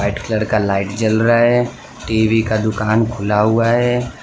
White colour का light जल रा है टी_वी का दुकान खुला हुआ है।